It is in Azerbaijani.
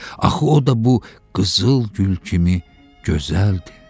Axı o da bu qızıl gül kimi gözəldir.